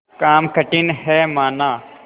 काम कठिन हैमाना